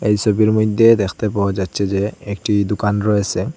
এই সবির মইধ্যে দেখতে পাওয়া যাচ্ছে যে একটি দুকান রয়েসে।